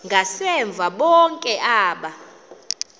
ngasemva bonke aba